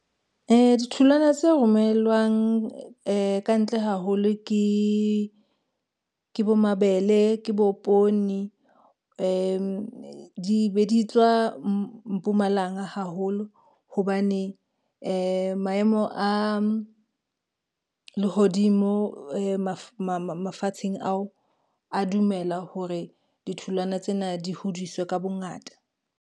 Ditholwana tse romellwang ka ntle haholo ke bo mabele, ke bo poone, di be di tswa Mpumalanga haholo, hobane maemo a lehodimo mafatsheng ao a dumela hore ditholwana tsena di hodiswe ka bongata.